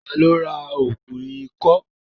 Ta ló ra ògùn ikọ́?